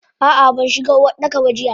Ah ah banshiga Uwardaka ba jiya.